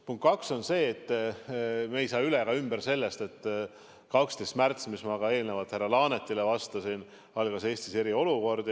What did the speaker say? Punkt kaks on see, et me ei saa üle ega ümber sellest, et 12. märtsil, nagu ma ka eelnevalt härra Laanetile vastasin, algas Eestis eriolukord.